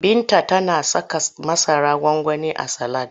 Binta tana saka masarar gwangwani a salad.